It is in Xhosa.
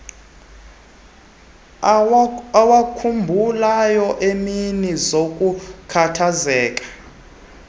awakhumbulayo eemini zokukhathazeka